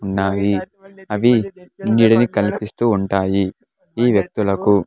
ఉన్నాయి అవి నీడని కల్పిస్తూ ఉంటాయి ఈ వ్యక్తులకు .